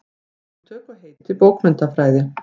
Hugtök og heiti bókmenntafræði.